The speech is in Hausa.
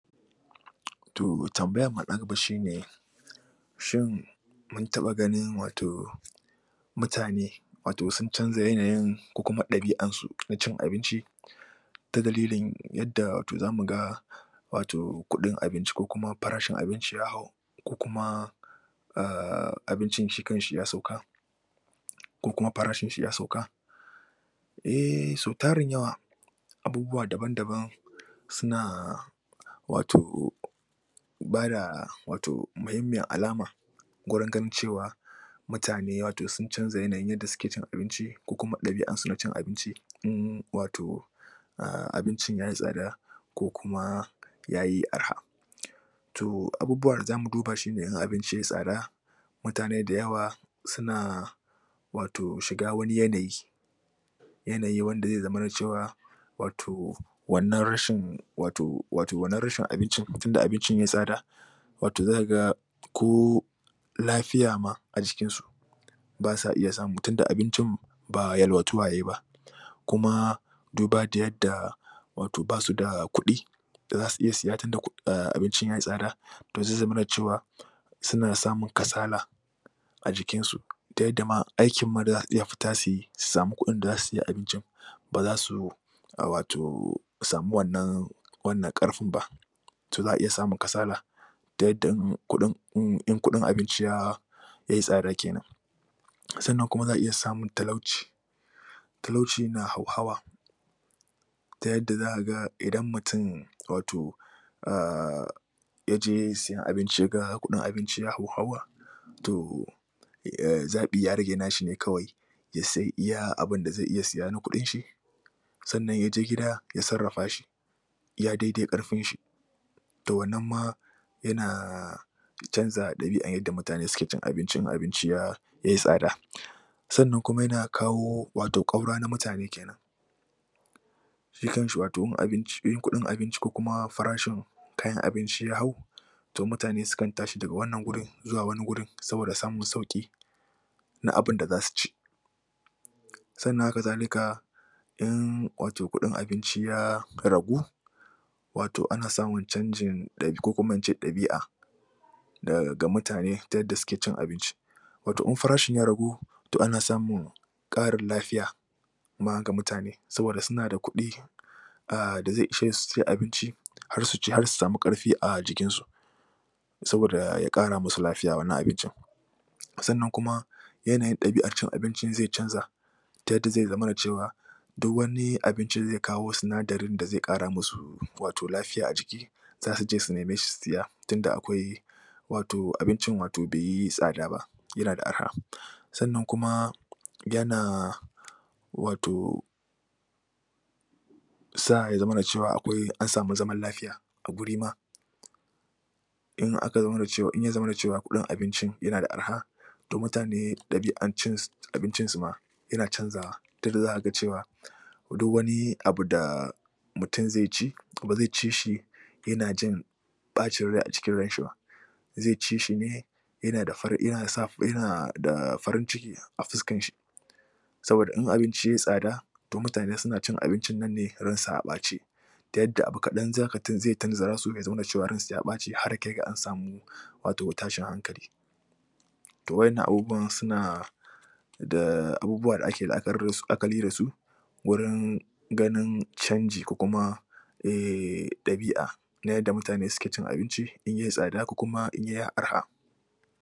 To tambayammu na gaba shine shin mun taɓa ganin wato mutane wato sun canja yanayin ko kuma ɗabia'an su na cin abinci? Ta dalilin wato yadda za mu ga wato kuɗin abinci ko kuma farashin abinci ya hau ko kuma aahh abincin shi kanshi ya sauka, ko kuma farashin shi ya sauka? Ehh tarin yawa abubuwa daban daban suna wato bada wato muhimmiyar alama, gurin ganin cewa, mtane wato sun canja yanayin yadda suke cin abinci, ko kuma ɗabia'ar su na cin abinci wato abincin yayi tsada, ko kuma, yayi araha. To abubuwan da za mu duba shine in abinci yayi tsada, mutane da yawa suna wato shiga wani yanayi yanayi wanda zai zamana cewa wato wannan rashin wato, wannan rashin abincin tunda abincin yai tsada wato za ka ga ko lafiya ma a jikinsu ba sa iya samu tun da abincin ba yalwatuwa yayi ba, kuma duba da yadda basu da kuɗi da za su iya siya tunda abincin ya yi tsada, to zai zamana cewa suna samun kasala a jikinsu ta yadda ma aikin ma da za su iya fita su yi su sami kuɗin da za su sai abinci ba za su wato samu wannan wannan karfin ba, to za'a iya samun kasala ta yadda in kuɗin abinci ya yai tsada kenan. Sannan kuma za a iya samun talauci na hauhawa ta yadda za ka ga idan mutum wato ahh ya je siyan abinci ya ga kuɗin abinci ya hauhawa, to, zaɓi ya rage na shi ne kawai ya sai iya abunda zai iya siya na kuɗinshi, sannan yaje gida ya sarrafa shi iya dai dai ƙarfin shi. To wannan ma yana canza ɗabia'an yadda mutane ke cin abinci in abinci yai tsada. Sannan kuma yana kawo ƙaura wato na mutane kenan Shi kanshi wato in kuɗin abinci ko kuma farashin kayan abinci ya hau, to mutane sukan tashi daga wanan wurin zuwa wani wurin saboda samun sauƙi na abinda za su ci. Sannan hakazalika, in wato kuɗin abinci ya ragu wato ana samun canjin ɗabi'a. ga mutane ta yadda suke cin abinci, wato in farashin ya ragu, to ana samun ƙarin lafiya ma ga mutane saboda suna da kuɗi, da zai ishe su cin abinci, har su ci su sami ƙarfi a jikinsu saboda ya ƙara musu lafiya wannan abincin. Sannan kuma, yanayin ɗabiar cin abincinzai canza ta yadda zai zama duk wani abinci da zai kawo sinadarin da zai ƙara musu wato lafiya a jiki za su je su neme shi su saya tunda akwai wato abincin tunda bai yi tsada ba yana da araha. Sannan kuma yana wato sa ya zamana cewa an sami zaman lafiya a guri ma in ya zamana da cewa kuɗin abincin yana da araha to mutane ɗabia'an cin abincin suma yana canzawa ta yadda za ka ga cewa duk wani abu da mutum zai ci, ba zai ci shi yana jin ɓacin rai a cikin ranshi ba zai ci shi ne yana da farin ciki a fuskan shi. Saboda in abinci yai tsada, to mutane suna cin abincin nan ne ransu a ɓace ta yadda abu kaɗan zai tunzura su, su nuna cewa ransu ya ɓaci har ya kai ga an sami wato tashin hankali. To wa'innan abubuwan suna abubuwa da ake la'akari da su wurin ganin canji ko kuma ehh ɗabi'a na yadda mutane suke cin abinci in yai tsada ko kuma in yai araha.